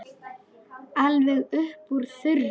Alveg upp úr þurru?